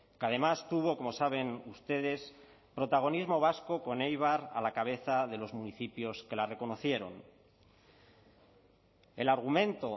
que además tuvo como saben ustedes protagonismo vasco con eibar a la cabeza de los municipios que la reconocieron el argumento